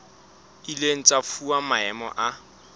ileng tsa fuwa maemo a